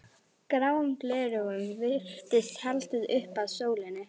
Gráum gleraugum virtist haldið upp að sólinni.